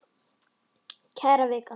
Kæra Vika!